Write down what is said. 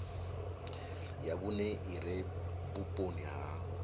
ya vhune ire vhuponi ha